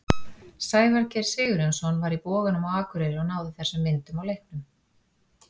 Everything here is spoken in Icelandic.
Sævar Geir Sigurjónsson var í Boganum á Akureyri og náði þessum myndum á leiknum.